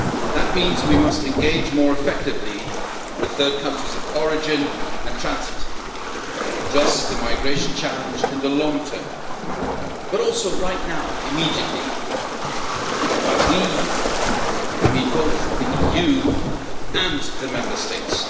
That means we must engage more effectively with third countries of origin and transit to address the migration challenge in the long term, but also right now, immediately, and by we, I mean both the EU and the Member States.